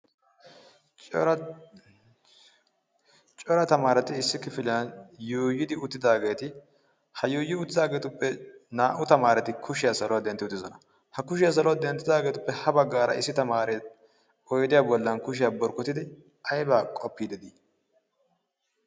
cera tamaarati issi kifiliyan yuyidi uttidaageeti ha yuuyi uttidaageetuppe naa'u tamaarati kushiyaa saluwaa dentti uttisona ha kushiyaa saluwaa denttidaageetuppe ha baggaara issi tamaarei oidiya bollan kushiyaa borkkotidi aibaa qoppii dedii?